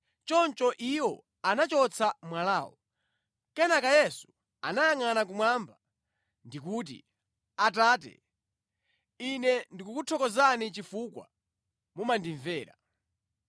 Choncho iwo anachotsa mwalawo. Kenaka Yesu anayangʼana kumwamba ndikuti, “Atate, Ine ndikukuthokozani chifukwa mumandimvera.